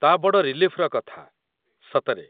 ତା' ବଡ଼ ରିଲିଫ୍‌ର କଥା, ସତରେ ।